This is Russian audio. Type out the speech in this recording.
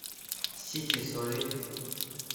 сите солей